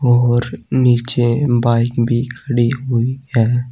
और नीचे बाइक भी खड़ी हुई है।